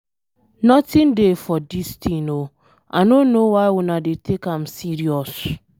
Nothin dey for dis thing oo, I no know why una dey take am serious.